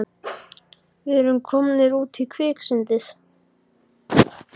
Við erum komnir út í kviksyndið!